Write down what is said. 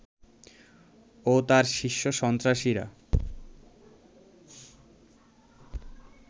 ও তার শীর্ষ সন্ত্রাসীরা